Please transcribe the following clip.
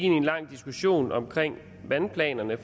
en lang diskussion om vandplanerne